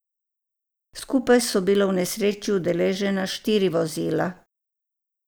Skupaj so bila v nesreči udeležena štiri vozila.